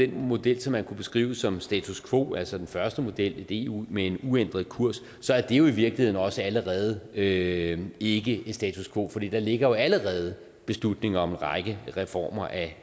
den model som man kunne beskrive som status quo altså den første model et eu med en uændret kurs så er det jo i virkeligheden også allerede ikke ikke status quo for der ligger jo allerede beslutning om en række reformer af